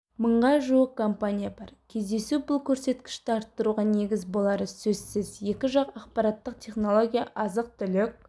мыңға жуық компания бар кездесу бұл көрсеткішті арттыруға негіз болары сөзсіз екі жақ ақпараттық-технология азық-түлік